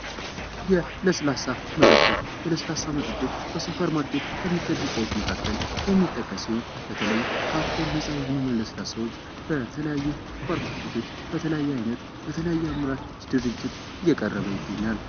ለስላሳ መጠጦች ከ ሱፐር ማርኬት ከሚሸጡ እቃዎች መካከል የሚጠቀስ ይሆን በተለይ ከአልኮል ነጻ የሆኑ መጠጦች በተለያየ አይነት ድርጅት እየቀረበ ይገኛል።